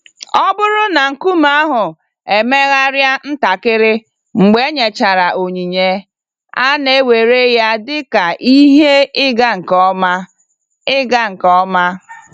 Ọ bụrụ na nkume ahụ emegharịa ntakịrị mgbe enyechara onyinye, a na-ewere ya dị ka ihe ịga nke ọma. ịga nke ọma.